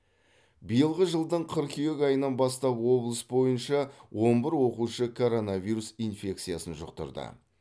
биылғы жылдың қыркүйек айынан бастап облыс бойынша он бір оқушы коронавиус инфекциясын жұқтырды